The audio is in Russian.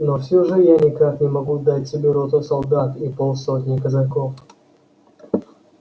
но все же я никак не могу дать тебе роту солдат и полсотни казаков